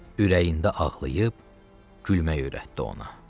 Ürəyində ağlayıb, gülmək öyrətdi ona.